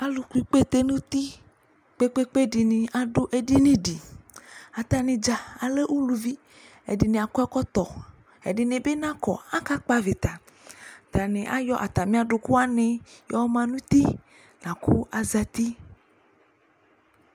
Alʋkpɔ ikpete nʋ uti kpe-kpe-kpe dɩnɩ adʋ edini dɩ Atanɩ dza alɛ uluvi Ɛdɩnɩ akɔ ɛkɔtɔ, ɛdɩnɩ bɩ nakɔ Akakpɔ avɩta Atanɩ ayɔ atamɩ adʋkʋ wanɩ ma nʋ uti la kʋ azati